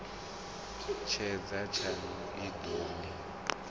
tshedza tshaṋu i ḓo ni